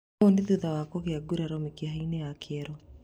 Ũũ nĩ thutha wa kũgĩa nguraro mĩkiha-inĩ ya kĩero